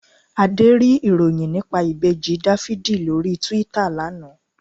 Adé rí ìròyìn nípa Ìbejì Dáfídì lórí Túítà lana